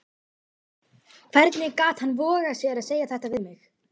Hvernig gat hann vogað sér að segja þetta við mig?